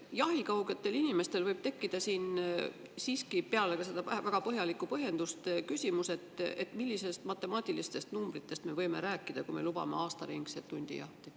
Jahikaugetel inimestel võib tekkida siin siiski peale seda väga põhjalikku põhjendust küsimus, et millistest matemaatilistest numbritest me võime rääkida, kui me lubame aastaringset hundijahti.